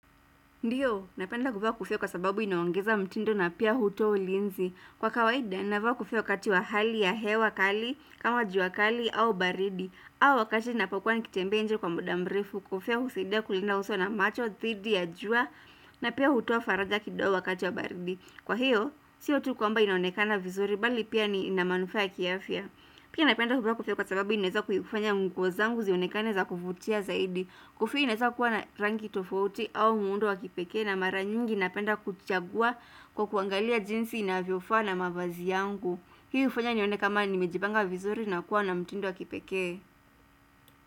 Ndiyo, napenda kuvaa kofia kwa sababu inaongeza mtindo na pia huto ulinzi. Kwa kawaida, napenda kuvaa kofia wakati wa hali ya hewa kali, kama jua kali, au baridi. Au wakati ninapokuwa nikitembea nje kwa muda mrefu, kofia husaidia kulinda uso na macho, dhidi ya jua, na pia hutoa faraja kidogo wakati wa baridi. Kwa hiyo, siyo tu kwamba inaonekana vizuri, bali pia ina manufaa ya kiafya. Pika napenda kuvaa kofia kwa sababu inaweza kufanya nguo zangu zionekane za kuvutia zaidi. Kofia inaweza kuwa na rangi tofauti au muundo wa kipekee na mara nyingi napenda kuchagua kwa kuangalia jinsi inavyofaa na mavazi yangu. Hii hufanya nionekane nimejipanga vizuri na kuwa na mtindo wa kipekee.